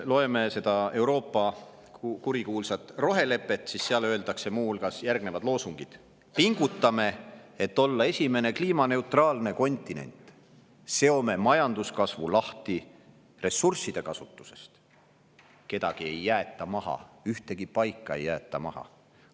Loeme seda Euroopa kurikuulsat rohelepet, seal on muu hulgas järgnevad loosungid: "Pingutame, et olla esimene kliimaneutraalne kontinent!", "Seome majanduskasvu lahti ressursside kasutusest!", "Kedagi ei jäeta maha, ühtegi paika ei jäeta maha!".